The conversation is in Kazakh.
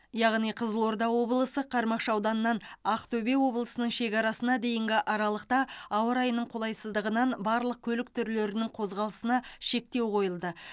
яғни қызылорда облысы қармақшы ауданынан ақтөбе облысының шекарасына дейінгі аралықта ауа райының қолайсыздығынан барлық көлік түрлерінің қозғалысына шектеу қойылды